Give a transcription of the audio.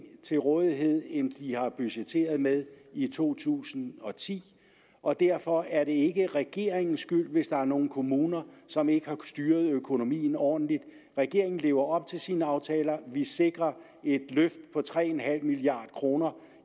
til rådighed end de har budgetteret med i to tusind og ti og derfor er det ikke regeringens skyld hvis der er nogle kommuner som ikke har styret økonomien ordentligt regeringen lever op til sine aftaler vi sikrer et løft på tre milliard kroner